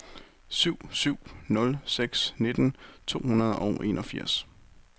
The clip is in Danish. syv syv nul seks nitten to hundrede og enogfirs